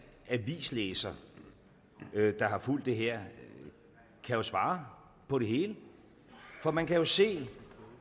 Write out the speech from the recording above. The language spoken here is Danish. avislæser der har fulgt det her kan jo svare på det hele for man kan jo se